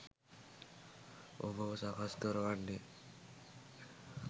ඔබව සකස් කරවන්නෙ.